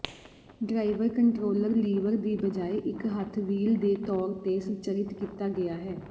driver controller lever ਦੀ ਬਜਾਏ ਇੱਕ ਹੱਥ ਵੀਲ ਦੇ ਤੌਰ ਤੇ ਸੰਰਚਿਤ ਕੀਤਾ ਗਿਆ ਹੈ